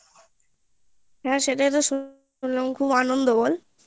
হ্যাঁ সেটাইতো শুনলাম খুব আনন্দ বল